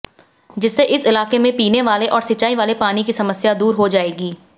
जिससे इस इलाके में पीने वाले और सिंचाई वाले पानी की समस्या दूर हो जायेगी